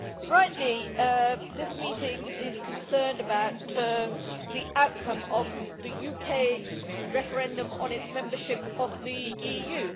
Rightly, this meeting is concerned about the outcome of the UK referendum on its membership of the EU.